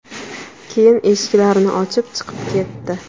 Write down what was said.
Keyin eshiklarni ochib, chiqib ketdi.